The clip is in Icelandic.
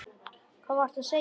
Hvað varstu að segja?